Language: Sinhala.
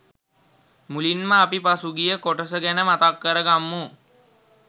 මුලින්ම අපි පසුගිය කොටස ගැන මතක් කරගම්මු.